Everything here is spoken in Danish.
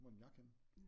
Hvor er min jakke henne?